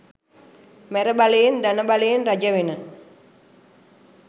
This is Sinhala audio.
මැරබලයෙන් ධන බලයෙන් රජවෙන